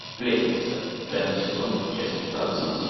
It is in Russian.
сплетница пятый сезон часть пятнадцать